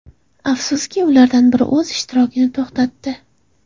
Afsuski, ulardan biri o‘z ishtirokini to‘xtatdi.